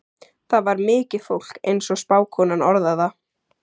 Þar var mikið fólk, eins og spákonan orðar það.